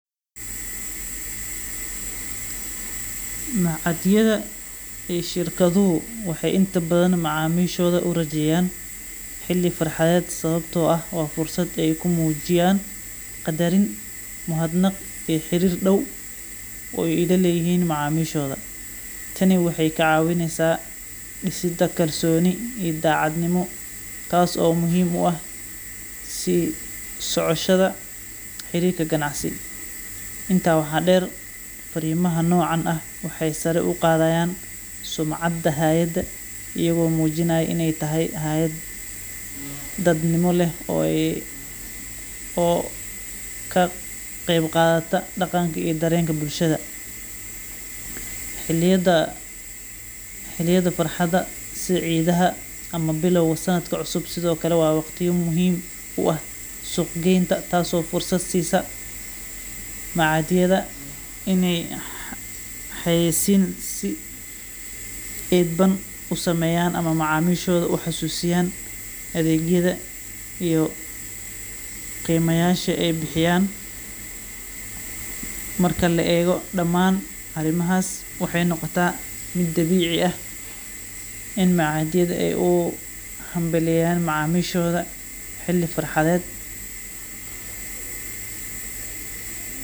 Machadyadha ee shirkadhuhu waxa inta badhan macamishodha urajeyaan xili farhadhed sawabto ah wa fursad ay kumujiyan qadarin muhadnaq iya xirir daw o ay laleyihin macamishodha. Tani waxay kacawineysa disada kalsoni iyo dacadnimo taaso muhim u ah si socoshadha xirirka ganacsi, inta waxa deer fariimaha nocaan ah waxay sara ugu qadhayaan sumcada hayada iyago mujinaya inay tahay hayad dadnimo leh oo kaqeyb qadhata dhaqanka iya dareenka bulashadha. Xiliyada farxada sidhi cidhaha ama bilawga sanadka cusub sidhokale wa waqtiya muhim u ah suuqa geynta taaso fursad siisa machadyadha inay xayeysiin si idban usameyan ama macamishodha kuxasusiyan adeegyadha iyo qima yasha ay bixiyaan. Marka la eego damaan arimahas waxay noqota mid Dabici ah in machadyadha ay u hambalyeyaan macamishodha xili farxaded.